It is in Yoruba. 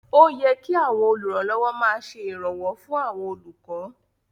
Ó yẹ kí àwọn olùrànlọ́wọ́ máa ṣe ìrànwọ́ fún àwọn olùkọ́